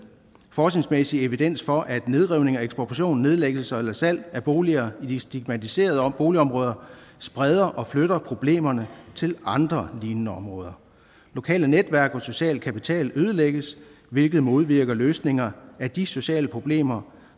forskningsmæssig evidens for at nedrivning ekspropriation nedlæggelse eller salg af boliger i de stigmatiserede boligområder spreder og flytter problemerne til andre lignende områder lokale netværk og social kapital ødelægges hvilket modvirker løsninger af de sociale problemer